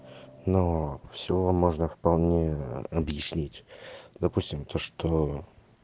но все можно вполне объяснить допустим то что